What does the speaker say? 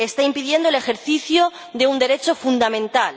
Está impidiendo el ejercicio de un derecho fundamental.